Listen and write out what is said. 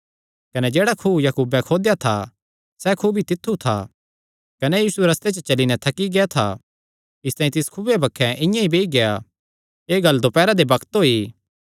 कने जेह्ड़ा खुअ याकूबे खोदेया था सैह़ खुअ भी तित्थु था कने यीशु रस्ते च चली नैं थकी गेआ था इसतांई तिस खुऐ बक्खे इआं ई बेई गेआ एह़ गल्ल दोपैरा दे बग्त होई